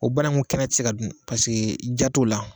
O bananku kɛnɛ tɛ se ka dun diya t'o la